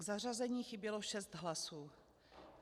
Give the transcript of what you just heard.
K zařazení chybělo šest hlasů.